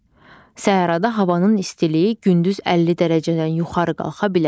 Səhrada havanın istiliyi gündüz 50 dərəcədən yuxarı qalxa bilər.